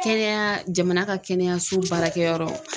Kɛnɛya jamana ka kɛnɛyaso baarakɛyɔrɔ.